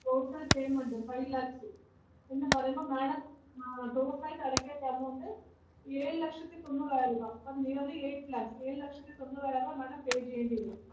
Total payment five lakhs എന്നു പറയുമ്പോൾ madam ആഹ് total ആയിട്ട് അടയ്‌ക്കേണ്ട amount ഏഴു ലക്ഷത്തിതൊണ്ണൂറായിരം രൂപ, അപ്പം nearly eight lakhs ഏഴു ലക്ഷത്തി തൊണ്ണൂറായിരം രൂപ madam pay ചെയ്യേണ്ടി വരും.